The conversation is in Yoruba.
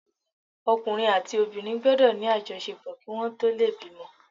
Ọkùnrin àti obìnrin gbọ́dọ̀ ní àjọṣepọ̀ kí wọn tó lè bímọ.